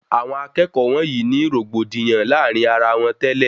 Àwọn akẹẹkọ wọnyii ní rògbòdìyàn láàrin ara wọn tẹ́lẹ̀